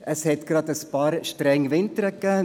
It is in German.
Es hatte gerade ein paar strenge Winter gegeben.